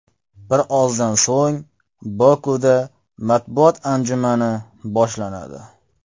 Birozdan so‘ng Bokuda matbuot-anjumani boshlanadi.